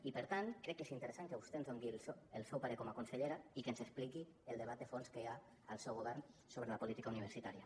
i per tant crec que és interessant que vostè ens doni el seu parer com a consellera i que ens expliqui el debat de fons que hi ha al seu govern sobre la política universitària